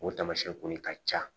O taamasiyɛn kɔni ka ca